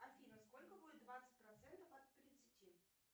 афина сколько будет двадцать процентов от тридцати